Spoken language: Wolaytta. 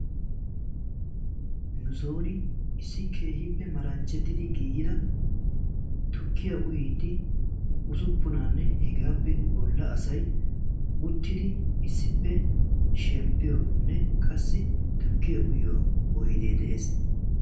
Nussoon issi keehiippe malanchchettidi giigida tukkiyaa uyiidi usuppunaanne hegaappe bolla asay uttidi issippe shemppiyonne qassi tukkiya uyiyo oydee de'ees.